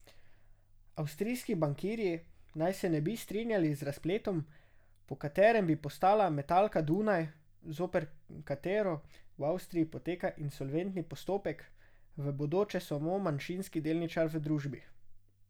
Avstrijski bankirji naj se ne bi strinjali z razpletom, po katerem bi postala Metalka Dunaj, zoper katero v Avstriji poteka insolventni postopek, v bodoče samo manjšinski delničar v družbi.